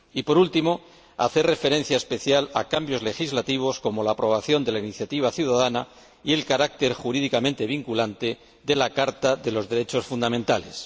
y, por último, hacer referencia especial a cambios legislativos como la aprobación de la iniciativa ciudadana y el carácter jurídicamente vinculante de la Carta de los Derechos Fundamentales.